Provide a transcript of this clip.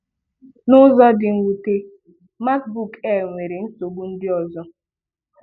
N’ụzọ dị́ mwùtè, MacBook Air ochie nwere nsogbu ndị ọzọ.